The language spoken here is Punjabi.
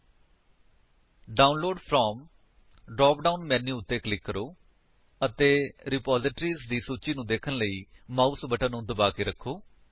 download from download from drop down menu ਉੱਤੇ ਕਲਿਕ ਕਰੋ ਅਤੇ ਰਿਪਾਜ਼ਿਟਰੀਜ਼ ਦੀ ਸੂਚੀ ਨੂੰ ਦੇਖਣ ਲਈ ਮਾਊਸ ਬਟਨ ਨੂੰ ਦਬਾ ਕੇ ਰੱਖੋ